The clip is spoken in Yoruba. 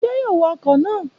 Ṣé yóò wá ọkọ na?